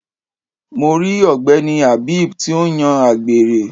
Mo ri ogbeni Habeeb ti ń yan àgbèrè.